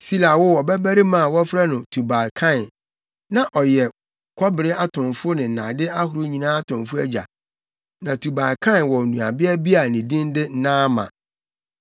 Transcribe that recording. Sila woo ɔbabarima a wɔfrɛ no Tubal-Kain. Na ɔyɛ kɔbere atomfo ne nnade ahorow nyinaa atomfo agya. Na Tubal-Kain wɔ nuabea bi a ne din de Naama.